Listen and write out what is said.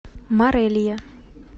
морелия